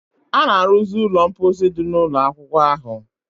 A na-arụzi ụlọ mposi dị n'ụlọ akwụkwọ ahụ